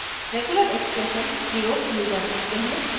regular expressions प्रयोग किये जा सकते हैं